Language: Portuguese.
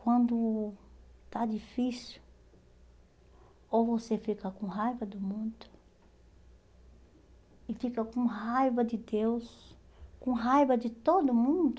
Quando está difícil, ou você fica com raiva do mundo e fica com raiva de Deus, com raiva de todo mundo,